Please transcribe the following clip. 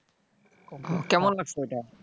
কেমন লাগছে ওইটা?